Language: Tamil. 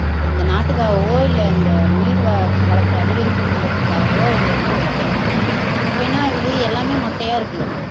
இந்த நாட்டுகாகவோ இல்ல இந்த நீர் வ வளத்தை அதிகரிக்கணுமங்கிறதுக்காகவோ அவங்க வந்து வைக்கல அப்ப என்ன ஆகுது எல்லாமே மொட்டையா இருக்கு